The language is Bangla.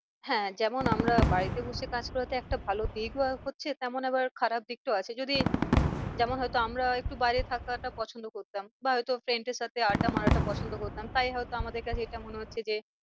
হ্যাঁ যেমন আমরা বাড়িতে বসে কাজ করাতে একটা ভালো দীর্ঘ আয়ু হচ্ছে তেমন আবার খারাপ দিকটাও আছে যদি তেমন হয়তো আমরা একটু বাইরে থাকাটা পছন্দ করতাম। বা হয় তো friend এর সাথে আড্ডা মারাটা পছন্দ করতাম তাই হয় তো আমাদের কাছে এটা মনে হচ্ছে যে